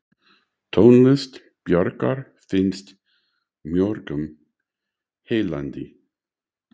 Tónlist Bjarkar finnst mörgum heillandi.